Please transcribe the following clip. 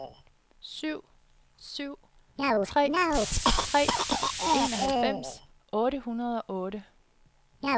syv syv tre tre enoghalvfems otte hundrede og otte